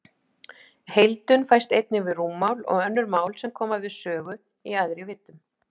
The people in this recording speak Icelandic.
Heildun fæst einnig við rúmmál og önnur mál sem koma við sögu í æðri víddum.